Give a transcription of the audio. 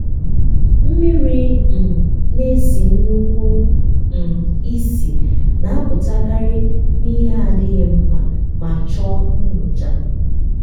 mmiri um na-esi nnukwu um ísì na-apụtakarị na ihe adịghị mma ma chọọ nyocha.